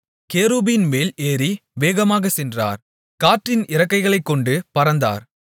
கேருபீன்மேல் ஏறி வேகமாகச் சென்றார் காற்றின் இறக்கைகளைக் கொண்டு பறந்தார்